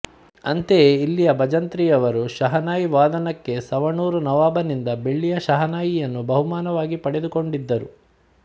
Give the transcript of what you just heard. ಅಂತೆಯೇ ಇಲ್ಲಿನ ಭಜಂತ್ರಿಯವರು ಶಹನಾಯಿ ವಾದನಕ್ಕೆ ಸವಣೂರು ನವಾಬನಿಂದ ಬೆಳ್ಳಿಯ ಶಹನಾಯಿಯನ್ನು ಬಹುಮಾನವಾಗಿ ಪಡೆದುಕೊಂಡಿದ್ದರು